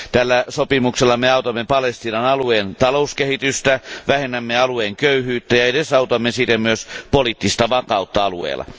Tällä sopimuksella me autamme Palestiinan alueen talouskehitystä, vähennämme alueen köyhyyttä ja edesautamme siten myös poliittista vakautta alueella.